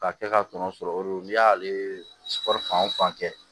Ka kɛ ka tɔnɔ sɔrɔ o re don n'i y'ale fan o fan kɛ